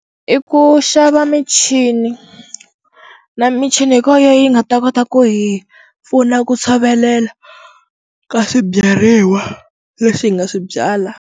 I ku xava michini na michini ku va yo yi nga ta kota ku hi pfuna ku tshovelela ka swibyariwa leswi hi nga swi byala.